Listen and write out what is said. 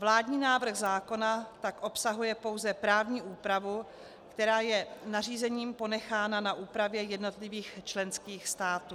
Vládní návrh zákona tak obsahuje pouze právní úpravu, která je nařízením ponechána na úpravě jednotlivých členských států.